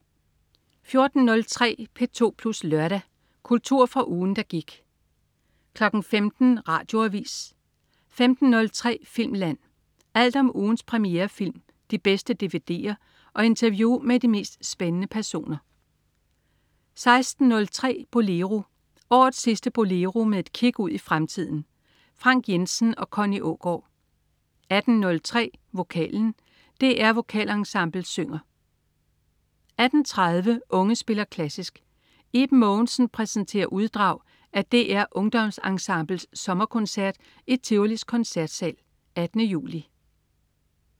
14.03 P2 Plus Lørdag. Kultur fra ugen, der gik 15.00 Radioavis 15.03 Filmland. Alt om ugens premierefilm, de bedste dvd'er og interview med de mest spændende personer 16.03 Bolero. Årets sidste "Bolero" med et kig ud i fremtiden. Frank Jensen og Connie Aagaard 18.03 Vokalen. DR Vokalensemblet synger 18.30 Unge spiller klassisk. Iben Mogensen præsenterer uddrag af DR Ungdomsensemblets sommerkoncert i Tivolis Koncertsal 18. juli